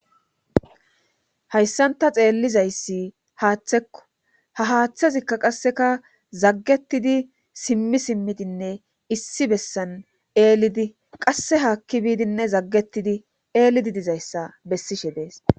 hayssan ta xeellizayssi haaththekko ha haaththezikka qasseka zaggetidi simmi simmidinne issi bessan eelidi qasse haakki biidinne zaggettidi eelidi dizayssa bessishe dees